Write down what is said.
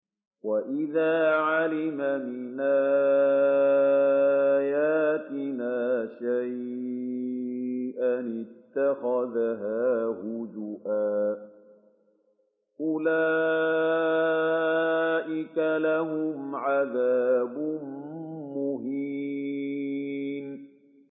وَإِذَا عَلِمَ مِنْ آيَاتِنَا شَيْئًا اتَّخَذَهَا هُزُوًا ۚ أُولَٰئِكَ لَهُمْ عَذَابٌ مُّهِينٌ